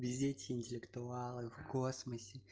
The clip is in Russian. везде эти интеллектуалы в космосе